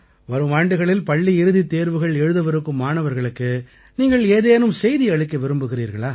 வரும் ஆண்டுகளில் பள்ளி இறுதித் தேர்வுகள் எழுதவிருக்கும் மாணவர்களுக்கு நீங்கள் ஏதேனும் செய்தி அளிக்க விரும்புகிறீர்களா